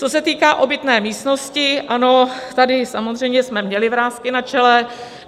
Co se týká obytné místnosti: ano, tady samozřejmě jsme měli vrásky na čele.